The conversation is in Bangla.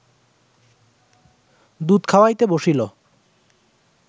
দুধ খাওয়াইতে বসিল